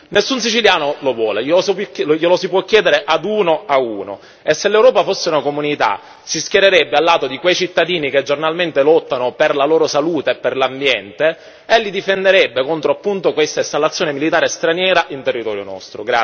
Nessun siciliano lo vuole, glielo si può chiedere ad uno ad uno, e se l'Europa fosse una comunità si schiererebbe a lato di quei cittadini che giornalmente lottano per la loro salute e per l'ambiente e li difenderebbe contro questa installazione militare straniera in territorio nostro.